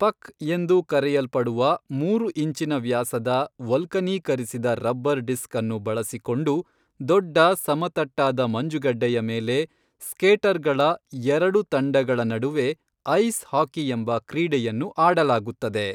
ಪಕ್ ಎಂದು ಕರೆಯಲ್ಪಡುವ ಮೂರು ಇಂಚಿನ ವ್ಯಾಸದ ವಲ್ಕನೀಕರಿಸಿದ ರಬ್ಬರ್ ಡಿಸ್ಕ್ ಅನ್ನು ಬಳಸಿಕೊಂಡು ದೊಡ್ಡ ಸಮತಟ್ಟಾದ ಮಂಜುಗಡ್ಡೆಯ ಮೇಲೆ ಸ್ಕೇಟರ್ಗಳ ಎರಡು ತಂಡಗಳ ನಡುವೆ ಐಸ್ ಹಾಕಿಯೆಂಬ ಕ್ರೀಡೆಯನ್ನು ಆಡಲಾಗುತ್ತದೆ.